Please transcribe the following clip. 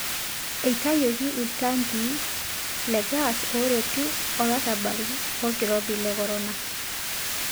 Eitayioki iltangii le gas ooretu olarabal lolkirobi le korona.